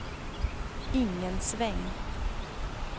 ingen sväng